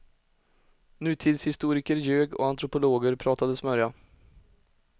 Nutidshistoriker ljög och antropologer pratade smörja.